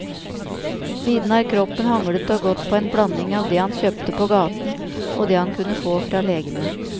Siden har kroppen hanglet og gått på en blanding av det han kjøpte på gaten og det han kunne få fra legene.